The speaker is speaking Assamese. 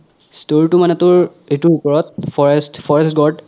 story তো মানে তোৰ এইতোৰ ওপৰত forest forest god